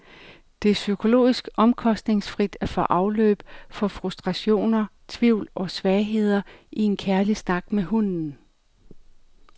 Det er psykologisk omkostningsfrit at få afløb for frustrationer, tvivl og svagheder i en kærlig snak med hunden.